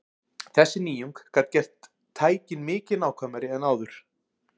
Þessi nýjung gat gert tækin mikið nákvæmari en áður.